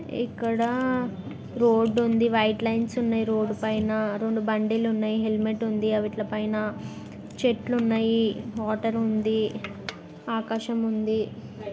ఇక్కడ రోడ్డు ఉంది white lines ఉన్నాయ్ రోడ్డు పైన రెండు బండ్లు ఉన్నాయి హెలిమేట్ ఉంది వాటి పైన చెట్లు ఉన్నాయ్ వాటర్ ఉంది ఆకాశం ఉంది .